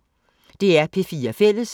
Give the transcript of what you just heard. DR P4 Fælles